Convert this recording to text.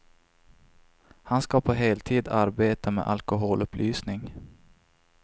Han ska på heltid arbeta med alkoholupplysning.